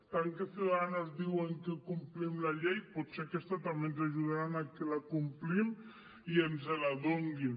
tant que ciudadanos ens diu que complim la llei potser aquesta també ens ajudaran a que la complim i ens la donin